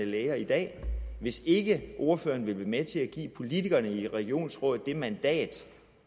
læger i dag hvis ikke ordføreren vil være med til at give politikerne i regionsrådet det mandat